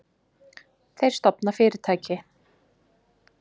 Þeir stofna fyrirtæki.